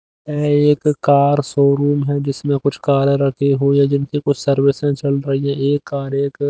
यह एक car showroom है जिसमें कुछ कार रखी हुई है जिनकी कुछ सर्विसें चल रही है एक कार एक--